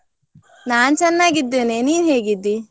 ನಾನ್ ಚೆನ್ನಾಗಿದ್ದೇನೆ, ನೀನ್ ಹೇಗಿದ್ದಿ?